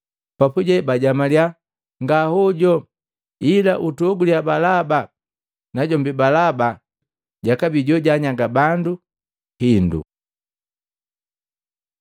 Papuje bajamaliya, “Nga hojo, ila utuhoguliya Balaba!” Najombi Balaba jakabii jojanyaga bandu hindu.